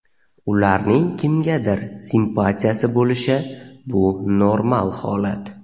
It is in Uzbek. ularning kimgadir simpatiyasi bo‘lishi bu normal holat.